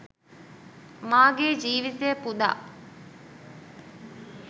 මා ගේ ජීවිතය පුදා